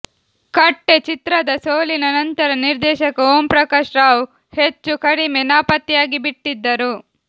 ಕಟ್ಟೆ ಚಿತ್ರದ ಸೋಲಿನ ನಂತರ ನಿರ್ದೇಶಕ ಓಂ ಪ್ರಕಾಶ್ ರಾವ್ ಹೆಚ್ಚೂ ಕಡಿಮೆ ನಾಪತ್ತೆಯಾಗಿಬಿಟ್ಟಿದ್ದರು